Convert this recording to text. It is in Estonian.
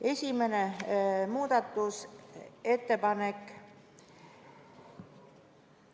Esimene muudatusettepanek.